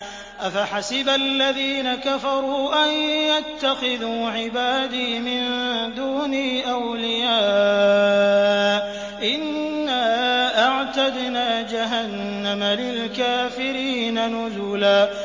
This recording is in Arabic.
أَفَحَسِبَ الَّذِينَ كَفَرُوا أَن يَتَّخِذُوا عِبَادِي مِن دُونِي أَوْلِيَاءَ ۚ إِنَّا أَعْتَدْنَا جَهَنَّمَ لِلْكَافِرِينَ نُزُلًا